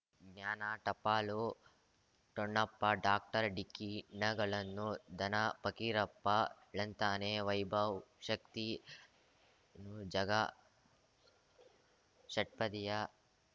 ಜ್ಞಾನ ಟಪಾಲು ಠೊಣಪ ಡಾಕ್ಟರ್ ಢಿಕ್ಕಿ ಣಗಳನು ಧನ ಫಕೀರಪ್ಪ ಳಂತಾನೆ ವೈಭವ್ ಶಕ್ತಿ ಝಗಾ ಷಟ್ಪದಿಯ